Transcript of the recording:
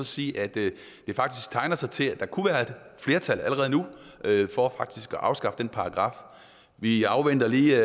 sige at det faktisk tegner til til at der kunne være et flertal allerede nu for at afskaffe den paragraf vi afventer lige